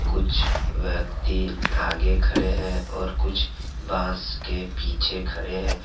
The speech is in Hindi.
कुछ व्यक्ति आगे खड़े है और कुछ बांस के पीछे खड़े है।